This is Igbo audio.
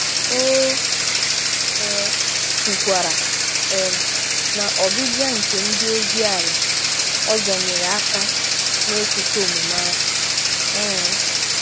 O um kwukwara um na ọbịbịa nke ndị ozi ala ọzọ nyere aka n'ịkwụsị omume ahụ um